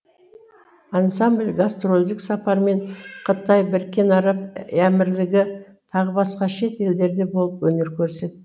ансамбль гастрольдік сапармен қытай біріккен араб әмірлігі тағы басқа шет елдерде болып өнер көрсетті